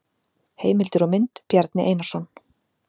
Heimildir og mynd: Bjarni Einarsson.